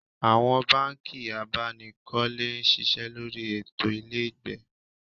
Awon banki abanikole n sise lori eto ilegbe